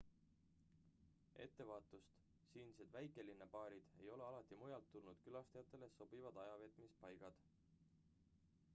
ettevaatust siinsed väikelinnabaarid ei ole alati mujalt tulnud külastajatele sobivad ajaveetmispaigad